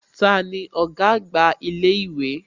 Tani ọ̀gá àgbà ilé ìwé?